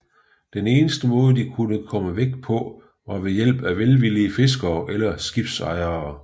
Den eneste måde de kunne komme væk på var ved hjælp af velvillige fiskere eller skibsejere